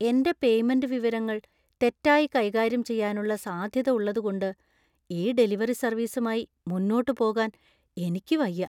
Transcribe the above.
എന്‍റെ പേയ്മെന്റ് വിവരങ്ങൾ തെറ്റായി കൈകാര്യം ചെയ്യാനുള്ള സാധ്യത ഉള്ളതുകൊണ്ട് ഈ ഡെലിവറി സർവീസുമായി മുന്നോട്ട് പോകാൻ എനിക്ക് വയ്യ.